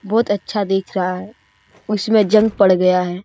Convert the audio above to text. बहोत अच्छा दिख रहा है उसमें जंग पड़ गया है।